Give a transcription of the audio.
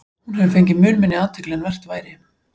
Hún hefur fengið mun minni athygli en vert væri.